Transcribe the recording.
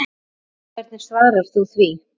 Hvernig svarar þú því?